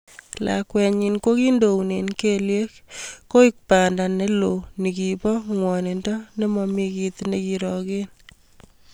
Lakwet nyin kokindoune kelyek koek panda ne lo ningibo ngwonindo ne momi kit nekeroken.